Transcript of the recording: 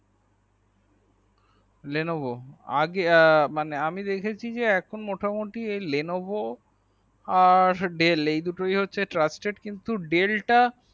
lenevo আগে মানে আমি দেখেছি যে এখন মোটামোটি Levono আর ডিল এই দুটোই হচ্ছে trusted কিন্তু ডেল তা